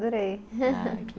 Adorei